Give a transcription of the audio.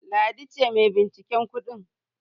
Ladi ce mai binciken kudin.